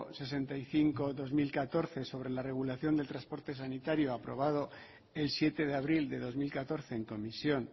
sesenta y cinco barra dos mil catorce sobre la regulación de transporte sanitario aprobado el siete de abril de dos mil catorce en comisión